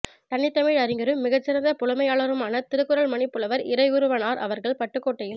தனித்தமிழ் அறிஞரும் மிகச்சிறந்த புலமையாளருமான திருக்குறள்மணி புலவர் இறைக்குருவனார் அவர்கள் பட்டுக்கோட்டையில்